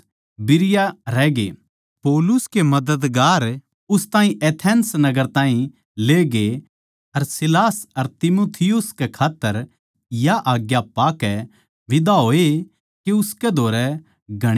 पौलुस के मददगारां नै उस ताहीं एथेंस नगर ताहीं लेगे अर सीलास अर तीमुथियुस कै खात्तर या आज्ञा पाकै बिदा होए के उसकै धोरै घणी तगाजै तै आये